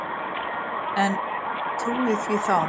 En trúði því þá.